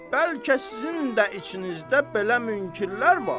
Bəlkə sizin də içinizdə belə münkirlər var.